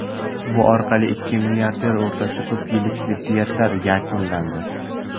Bu orqali ikki milliarder o‘rtasidagi ko‘p yillik ziddiyat yakunlandi.